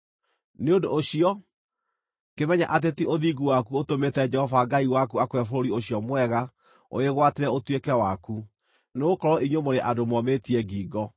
Nĩ ũndũ ũcio, kĩmenye atĩ ti ũthingu waku ũtũmĩte Jehova Ngai waku akũhe bũrũri ũcio mwega ũwĩgwatĩre ũtuĩke waku, nĩgũkorwo inyuĩ mũrĩ andũ momĩtie ngingo.